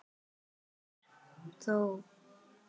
Hvað er þjóð?